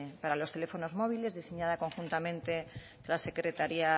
para los teléfonos móviles diseñada conjuntamente la secretaria